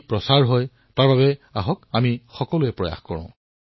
মোৰ মৰমৰ দেশবাসীসকল আহক সাধুৰ পৃথিৱীৰ পৰা এতিয়া আমি সাত সমুদ্ৰৰ সিপাৰলৈ যাও